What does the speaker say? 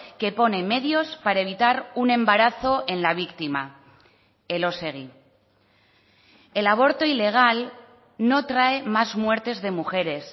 que pone medios para evitar un embarazo en la víctima elósegui el aborto ilegal no trae más muertes de mujeres